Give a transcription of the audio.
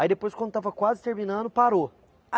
Aí depois, quando estava quase terminando, parou.